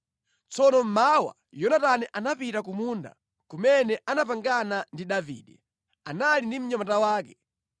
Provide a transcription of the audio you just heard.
Tsono mmawa Yonatani anapita ku munda kumene anapangana ndi Davide. Anali ndi mnyamata wake.